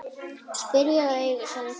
Spyrja og eiga samtal.